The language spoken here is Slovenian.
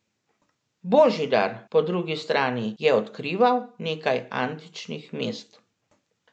Božidar, po drugi strani, je odkrival nekaj antičnih mest.